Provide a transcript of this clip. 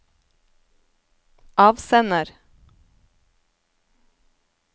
avsender